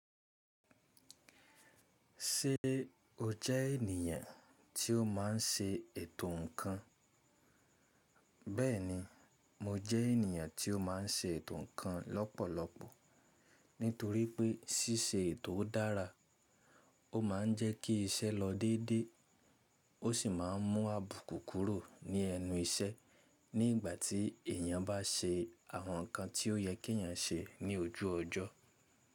Ṣé o jẹ́ ènìyàn tí ó máa ń ṣe ètò ǹkan? Bẹ́ẹ̀ni, mo jẹ́ ènìyàn tí ó má ń ṣe ètò ǹkan lọ́pọ̀lọpọ̀, nítorí pé ṣíṣe ètò dára ó máa ń jẹ́ kí iṣẹ́ lọ déédé, ó sì máa ń mú àbùkù kúrò ní ẹnu iṣẹ́ ní ìgbà tí èyàn bá ṣe àwọn ǹkan tí ó yẹ kí èyàn ṣe ní ojú ọjọ́.